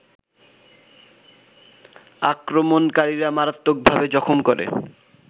আক্রমণকারীরা মারাত্মকভাবে জখম করে